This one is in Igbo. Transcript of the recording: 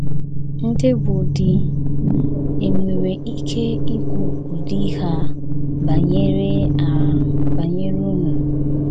Ndị bụ́ di, è nwere ike ikwu ụdị ihe a banyere a banyere unu?